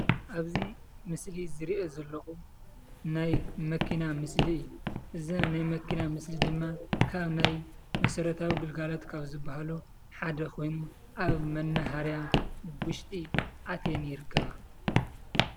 ኣብዚ ምስሊ ዝሪኦ ዘለኹ ናይ መኪና ምስሊ እዩ፡፡ እዛ ናይ መኪና ምስሊ ድማ ካብ ናይ መሰረታዊ ግልጋሎት ካብ ዝበሃሉ ሓደ ኮይኑ ኣብ መነሃርያ ውሽጢ ኣትየን ይርከባ፡፡